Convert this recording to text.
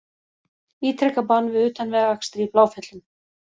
Ítreka bann við utanvegaakstri í Bláfjöllum